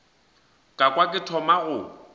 ka kwa ke thoma go